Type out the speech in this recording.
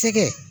Sɛgɛn